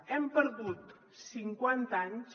hem perdut cinquanta anys